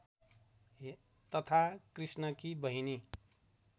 तथा कृष्णकी बहिनी